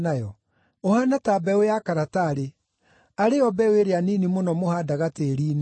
Ũhaana ta mbeũ ya karatarĩ, arĩ yo mbeũ ĩrĩa nini mũno mũhaandaga tĩĩri-inĩ.